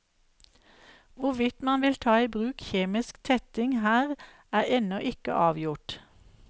Hvorvidt man vil ta i bruk kjemisk tetting her er ennå ikke avgjort.